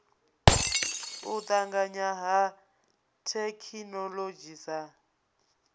u tanganya ha thekhinoḽodzhi sa